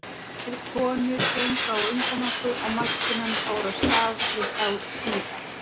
Tvær konur gengu á undan okkur og maskínan fór af stað við þá síðari.